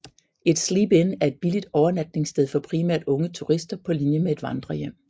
Et sleep in er et billigt overnatningssted for primært unge turister på linje med et vandrerhjem